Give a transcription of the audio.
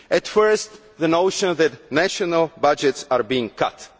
Firstly, the notion that national budgets are being cut.